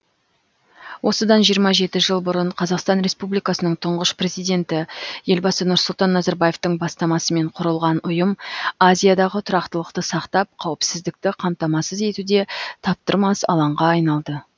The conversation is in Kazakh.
осыдан жиырма жеті жыл бұрын қазақстан республикасының тұңғыш президенті елбасы нұрсұлтан назарбаевтың бастамасымен құрылған ұйым азиядағы тұрақтылықты сақтап қауіпсіздікті қамтамасыз етуде таптырмас алаңға айналды